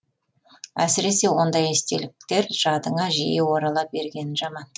әсіресе ондай естеліктер жадыңа жиі орала бергені жаман